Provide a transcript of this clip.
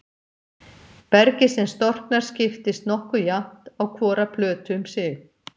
Bergið sem storknar skiptist nokkuð jafnt á hvora plötu um sig.